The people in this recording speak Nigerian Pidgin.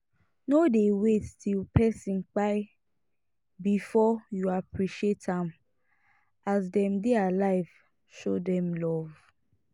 no dey wait till person kpai before you appreciate am as dem dey alive show dem love